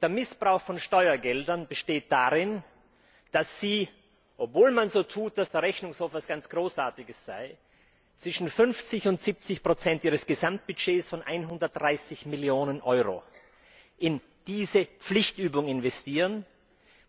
Der Missbrauch von Steuergeldern besteht darin, dass Sie, obwohl man so tut, als ob der Rechnungshof etwas ganz Großartiges sei, zwischen 50 und 70 ihres Gesamtbudgets von 130 Millionen Euro in diese Pflichtübung investieren,